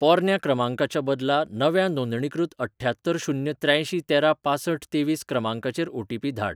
पोरन्या क्रमांकाच्या बदला नव्या नोंदणीकृत अठ्ठ्यात्तर शून्य त्र्यांयशी तेरा पांसठ तेवीस क्रमांकाचेर ओटीपी धाड.